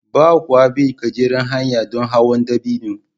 Ba kwa bin gajeriyar hanya don hawan dabino